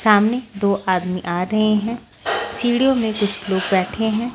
सामने दो आदमी आ रहे हैं सीढ़ियों में कुछ लोग बैठे हैं।